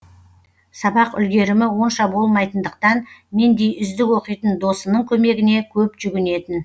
сабақ үлгерімі онша болмайтындықтан мендей үздік оқитын досының көмегіне көп жүгінетін